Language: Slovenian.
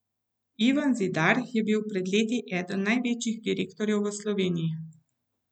Ivan Zidar je bil pred leti eden največjih direktorjev v Sloveniji.